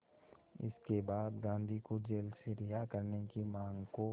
इसके बाद गांधी को जेल से रिहा करने की मांग को